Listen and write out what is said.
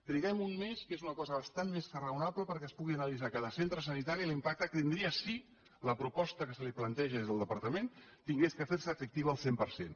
triguem un mes que és una cosa bastant més que raonable perquè es pugui analitzar en cada centre sanitari l’impacte que tindria si la proposta que se li planteja des del departament hagués de fer se efectiva al cent per cent